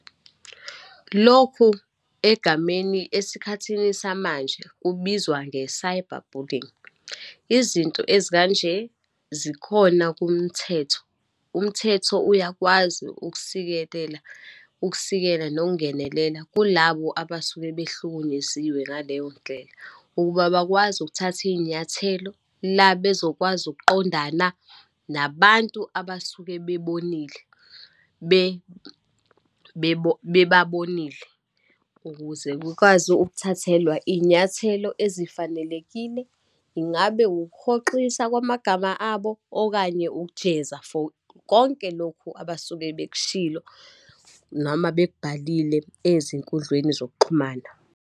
Lokhu egameni esikhathini samanje kubizwa, nge-cyber bullying. Izinto ezikanje zikhona kumthetho. Umthetho uyakwazi ukusikelela, ukusikela nokungenelela kulabo abasuke behlukunyeziwe ngaleyo ndlela, ukuba bakwazi ukuthatha iyinyathelo la bezokwazi ukuqondana nabantu abasuke bebonile bebabonile, ukuze kukwazi ukuthathelwa iyinyathelo ezifanelekile. Ingabe ukuhoxisa kwamagama abo, okanye ukujeza for konke lokhu abasuke bekushilo, noma bekubhalile ezinkundleni zokuxhumana.